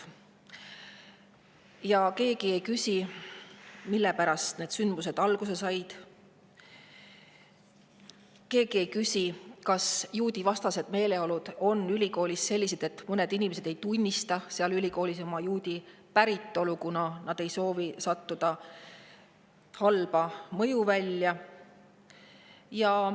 Ja keegi ei küsi, millest need sündmused alguse said, keegi ei küsi, kas juudivastased meeleolud ülikoolis on sellised, et mõned inimesed ei tunnistada oma juudi päritolu, kuna nad ei soovi sattuda halba mõjuvälja.